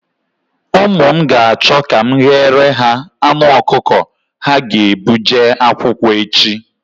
Ụmụ m ga-achọ ka m ghere ha anụ ọkụkọ ha ga-ebu jee akwụkwọ echi.